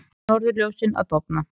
Norðurljósin að dofna